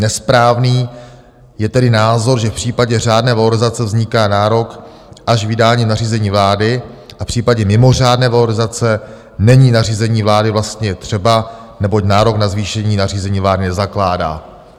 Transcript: Nesprávný je tedy názor, že v případě řádné valorizace vzniká nárok až vydáním nařízení vlády a v případě mimořádné valorizace není nařízení vlády vlastně třeba, neboť nárok na zvýšení nařízení vlády nezakládá.